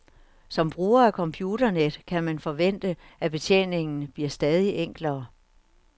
Som bruger af computernet kan man forvente at betjeningen bliver stadig enklere.